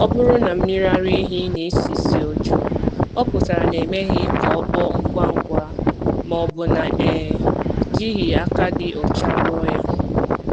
Ọ bụrụ na mmiri ara ehi na-esi ísì ọjọọ, ọ pụtara na e meghị ka o kpoo ngwa ngwa ma ọ bụ na e jighị aka dị ọcha rụọ ya